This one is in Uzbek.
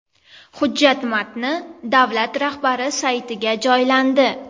Hujjat matni davlat rahbari saytiga joylandi .